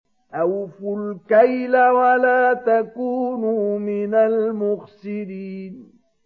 ۞ أَوْفُوا الْكَيْلَ وَلَا تَكُونُوا مِنَ الْمُخْسِرِينَ